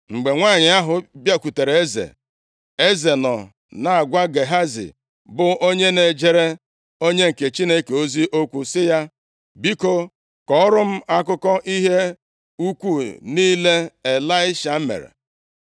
Mgbe nwanyị ahụ bịakwutere eze, eze nọ na-agwa Gehazi bụ onye na-ejere onye nke Chineke ozi okwu sị ya, “Biko, kọọrọ m akụkọ ihe ukwu niile Ịlaisha mere.”